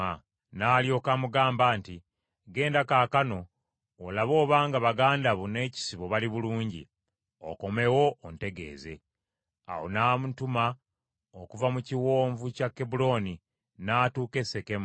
N’alyoka amugamba nti, “Genda kaakano olabe obanga baganda bo n’ekisibo bali bulungi, okomewo ontegeeze.” Awo n’amutuma okuva mu kiwonvu kya Kebbulooni, n’atuuka e Sekemu.